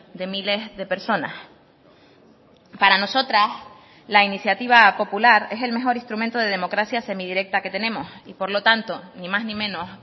de miles de personas para nosotras la iniciativa popular es el mejor instrumento de democracia semi directa que tenemos y por lo tanto ni más ni menos